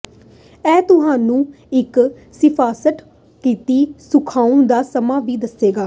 ਇਹ ਤੁਹਾਨੂੰ ਇੱਕ ਸਿਫਾਰਸ਼ ਕੀਤੀ ਸੁਕਾਉਣ ਦਾ ਸਮਾਂ ਵੀ ਦੱਸੇਗਾ